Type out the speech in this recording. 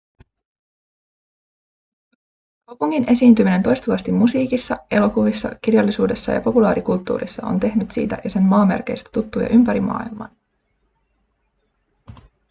kaupungin esiintyminen toistuvasti musiikissa elokuvissa kirjallisuudessa ja populaarikulttuurissa on tehnyt siitä ja sen maamerkeistä tuttuja ympäri maailman